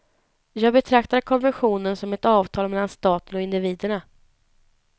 Jag betraktar konventionen som ett avtal mellan staten och individerna.